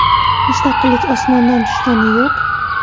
Mustaqillik osmondan tushgani yo‘q.